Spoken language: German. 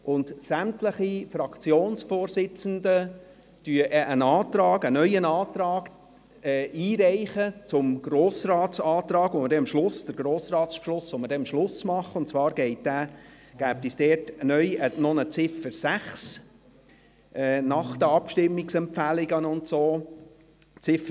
Zudem reichen sämtliche Fraktionsvorsitzenden einen neuen Antrag zum Grossratsbeschluss ein, den wir am Schluss fällen werden, und zwar gäbe es dort neu eine Ziffer 6 nach den Abstimmungsempfehlungen und so weiter.